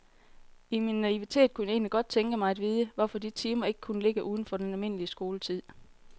I min naivitet kunne jeg egentlig godt tænke mig at vide, hvorfor de timer ikke kunne ligge uden for den almindelige skoletid.